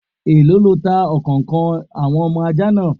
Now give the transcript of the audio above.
Èló lọ tá ọ̀kànkan àwọn ọmọ ajá náà?